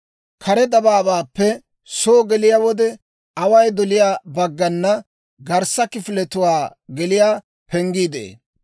Kare dabaabaappe soo geliyaa wode away doliyaa baggana garssa kifiletuwaa geliyaa penggii de'ee.